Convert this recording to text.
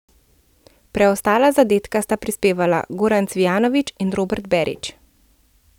Preostala zadetka sta prispevala Goran Cvijanović in Robert Berić.